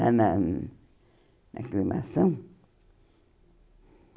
Lá Na na aclimação?